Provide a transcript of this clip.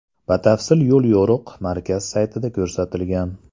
Batafsil yo‘l-yo‘riq markaz saytida ko‘rsatilgan .